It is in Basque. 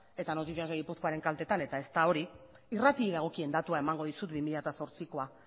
eta noticias de guipuzcoaren kaltetan eta ez da hori irratiei dagokien datua emango dizut bi mila zortzikoa